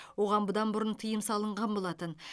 оған бұдан бұрын тыйым салынған болатын